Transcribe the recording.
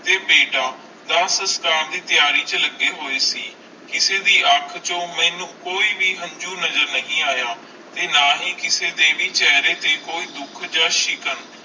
ਤੇ ਬੇਟਾ ਆਪਣੀ ਤਿਆਰੀ ਚ ਲੱਗੀ ਹੋਏ ਸੀ ਕਿਸੀ ਦੀ ਵੀ ਅਣਖ ਚੂ ਮੇਨੂ ਕੋਈ ਹੰਜੂ ਨਜ਼ਰ ਨਹੀਂ ਆਯਾ ਓਰ ਨਾ ਹੈ ਕਿਸੀ ਦੇ ਚੇਹਰੇ ਤੇ ਕੋਈ ਦੁੱਖ ਆ ਸ਼ਿਕਾਂ